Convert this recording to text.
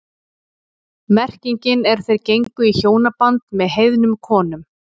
Merkingin er þeir gengu í hjónaband með heiðnum konum.